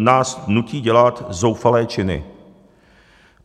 nás nutí dělat zoufalé činy.